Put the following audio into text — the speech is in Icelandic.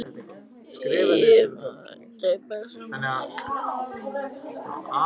Þorkell, hefur þú prófað nýja leikinn?